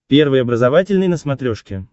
первый образовательный на смотрешке